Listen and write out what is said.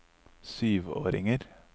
syvåringer